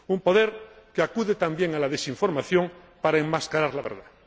un poder que acude también a la desinformación para enmascarar la verdad.